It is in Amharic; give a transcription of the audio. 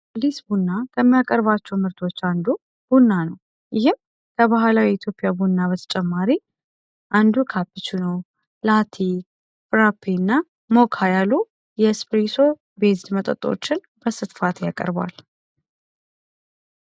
ሊስ ቡ እና ከሚያቀርባቸው ምርቶች አንዱ ቡና ነው ይህም ከባህላው የኢትዮፒያ ቡና በተጨማሪ አንዱ ካፕቹኖ ላቲ ፍራፔ እና ሞክ ያሉ የስፕሪሶ ቤዝድ መጠጦችን በስትፋት ያቀርቧል።